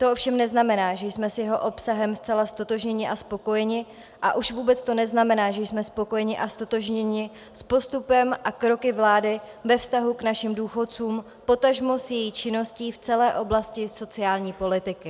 To ovšem neznamená, že jsme s jeho obsahem zcela ztotožnění a spokojeni, a už vůbec to neznamená, že jsme spokojeni a ztotožněni s postupem a kroky vlády ve vztahu k našim důchodcům, potažmo s její činností v celé oblasti sociální politiky.